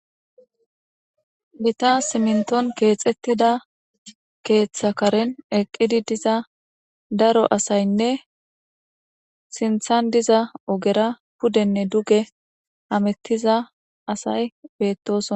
Giita simnton keexettida keeththa karen eqqidi diza daro asaynne sinthan diza ogera pudenne duge hamettiza asay beettosona.